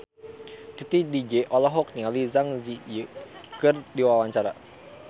Titi DJ olohok ningali Zang Zi Yi keur diwawancara